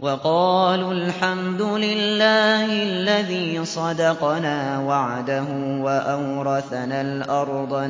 وَقَالُوا الْحَمْدُ لِلَّهِ الَّذِي صَدَقَنَا وَعْدَهُ وَأَوْرَثَنَا الْأَرْضَ